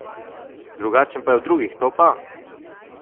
Drugačen pa je od drugih, to pa!